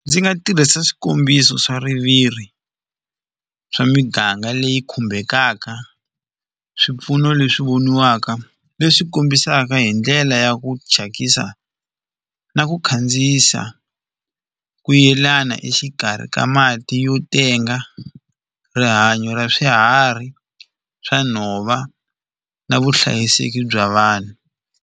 Ndzi nga tirhisa swikombiso swa swa miganga leyi khumbekaka swipfuno leswi voniwaka leswi kombisaka hi ndlela ya ku thyakisa na ku khandziyisa ku yelana exikarhi ka mati yo tenga rihanyo ra swiharhi swa nhova na vuhlayiseki bya vanhu.